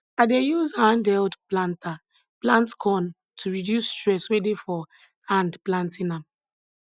i dey use hand held planter plant corn to reduce stress wey dey for hand planting am